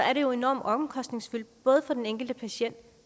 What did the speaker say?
er det jo enormt omkostningsfuldt både for den enkelte patient